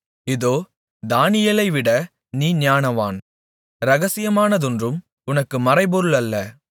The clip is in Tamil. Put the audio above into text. இதோ தானியேலைவிட நீ ஞானவான் இரகசியமானதொன்றும் உனக்கு மறைபொருள் அல்ல